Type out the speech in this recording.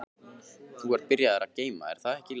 Þú ert byrjaður að geyma, er það ekki Lási?